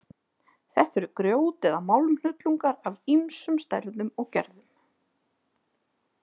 Þetta eru grjót- eða málmhnullungar af ýmsum stærðum og gerðum.